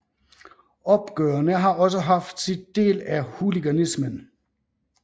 Opgørene har også haft sit del af hooliganismen